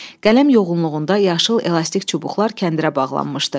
Qələm yoğunluğunda yaşıl elastik çubuqlar kəndirə bağlanmışdı.